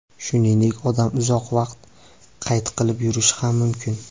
Shuningdek, odam uzoq vaqt qayt qilib yurishi ham mumkin.